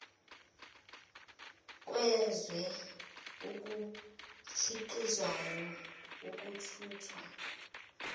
kwezwe okukhiqizwayo ukuthuthwa